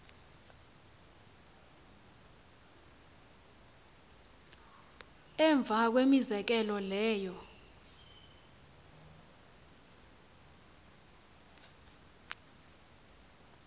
emva kwemizekelo leyo